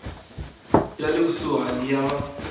ya le kusuhani ya va